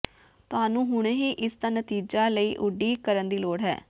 ਤੁਹਾਨੂੰ ਹੁਣੇ ਹੀ ਇਸ ਦਾ ਨਤੀਜਾ ਲਈ ਉਡੀਕ ਕਰਨ ਦੀ ਲੋੜ ਹੈ